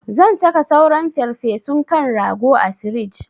Zan saka sauran farfesun kan rago a frij.